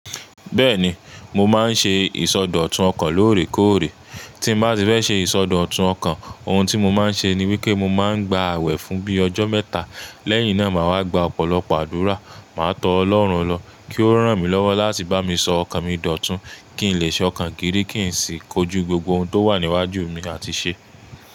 Bẹ́ẹ̀ni, mo máa ń ṣe ìsọdọ̀tun ọkàn lóòrèkóòrè. Tín bá ti fẹ́ ṣe ìsọdọ̀tun ọkàn, ohun tí mo máa ń ṣe ni wípé mo máa ń gba àwẹ̀ fún bíi ọjọ́ mẹ́ta, lẹ́yìn náà màá wá gba ọ̀pọ̀lọpọ̀ àdúrà. Màá tọ́ ọlọ́run lọ kí Ó rán mi lọ́wọ́ láti bá mi sọ ọkàn mi dòtun, kí n lè ṣọ̀kan giri, kí n sì kojú gbogbo ohun tó wà níwájú mi àti ṣẹ.